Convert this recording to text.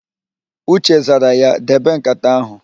Uche zara ya, "debe ǹkàtà áhụ̀"!